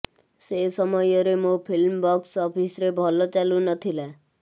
ସେ ସମୟରେ ମୋ ଫିଲ୍ମ ବକ୍ସ ଅଫିସରେ ଭଲ ଚାଲୁ ନଥିଲା